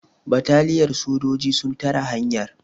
bataliyar sojoji sun tare hanyar